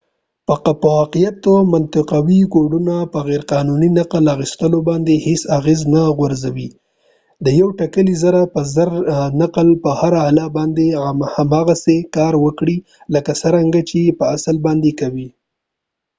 په واقعیت کې منطقوي کوډونه په غیر قانوني نقل اخیستلو باندې هیڅ اغیز نه غورځوي د یو ټیکلي زره په زره نقل به په هره اله باندې هماغسې کار وکړي لکه څرنګه یې چې په اصلي باندې کوي